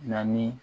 Na ni